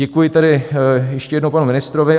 Děkuji tedy ještě jednou panu ministrovi.